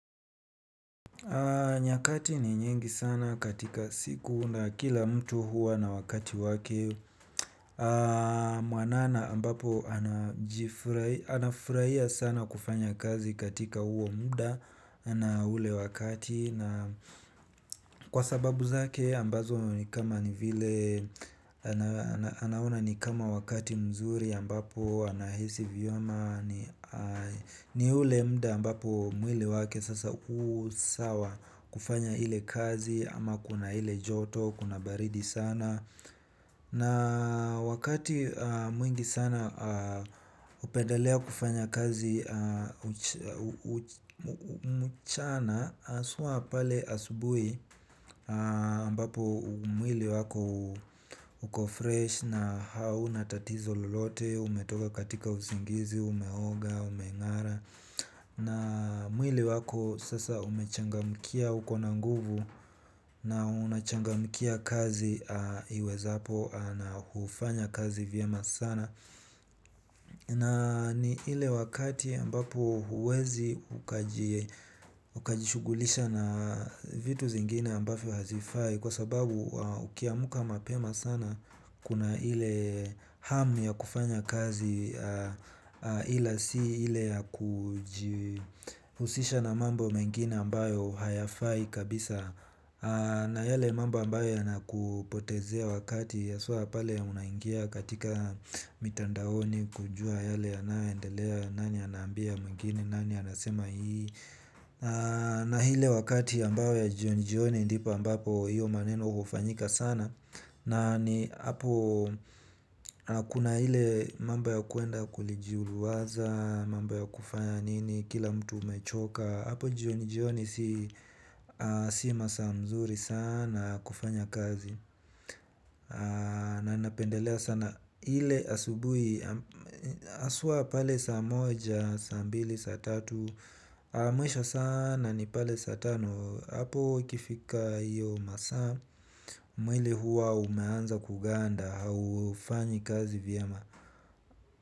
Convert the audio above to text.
Nyakati ni nyingi sana katika siku na kila mtu huwa na wakati wake. Mwanana ambapo anafurahia sana kufanya kazi katika huo muda na ule wakati na kwa sababu zake ambazo ni kama ni vile anaona ni kama wakati mzuri ambapo anahisi vyema. Ni ule muda ambapo mwili wake sasa usawa kufanya hile kazi ama kuna ile joto, kuna baridi sana na wakati mwingi sana. Hupendalea kufanya kazi. Mchana haswa pale asubuhi ambapo mwili wako uko fresh na hauna tatizo lolote umetoka katika usingizi, unaoga, umengara. Na mwili wako sasa umechangamkia uko na nguvu na unachangamkia kazi iwezapo na hufanya kazi vyema sana. Na ni ile wakati ambapo huwezi ukaji ukajishugulisha na vitu zingine ambazo hazifai kwa sababu ukiamka mapema sana kuna ile hamu ya kufanya kazi. Ila si ile ya kujuhusisha na mambo mengine ambayo hayafai kabisa. Na yale mambo ambayo yanakupotezea wakati ya haswa pale unaingia katika mitandaoni kujua yale yanayo endelea nani anambia mwingine nani anasema hii na ile wakati ambayo ya jioni jioni ndipo ambapo hiyo maneno hufanyika sana. Na ni apo kuna ile mambo ya kwenda kulijuruwaza mambo yakufanya nini kila mtu amechoka apo jioni jioni si si masaa nzuri sana ya kufanya kazi. Na napendelea sana ile asubuhi haswa pale saa moja, saa mbili, saa tatu mwisho sana ni pale saa tano apo ikifika hiyo masaa mwili huwa umeanza kuganda haufanyi kazi vyema.